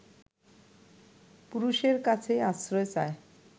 পুরুষের কাছেই আশ্রয় চায়